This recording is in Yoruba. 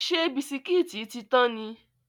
Ṣé bisikítì tí tán ni?